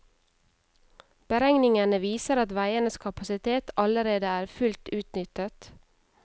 Beregningene viser at veienes kapasitet allerede er fullt utnyttet.